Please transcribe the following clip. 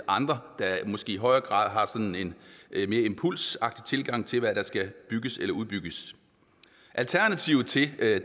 andre der måske i højere grad har en mere impulsiv tilgang til hvad der skal bygges eller udbygges alternativet til at